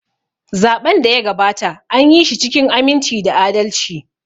Zaɓen da ya gabata, anyi shi cikin aminci da adalci.